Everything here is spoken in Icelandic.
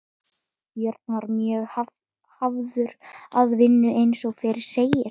Björn var mjög hafður að vinnu eins og fyrr segir.